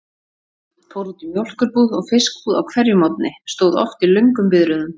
Fór út í mjólkurbúð og fiskbúð á hverjum morgni, stóð oft í löngum biðröðum.